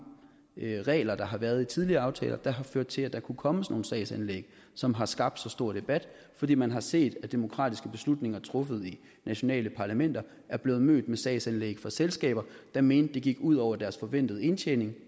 regler der har været i tidligere aftaler der har ført til at der kunne komme sådan nogle sagsanlæg som har skabt så stor debat fordi man har set at demokratiske beslutninger truffet i nationale parlamenter er blevet mødt med sagsanlæg fra selskaber der mente det gik ud over deres forventede indtjening